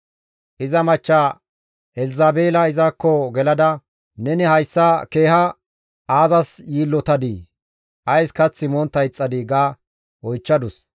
Iza machcha Elzabeela izakko gelada, «Neni hayssa keeha aazas yiillotadii? Ays kath montta ixxadii?» ga oychchadus.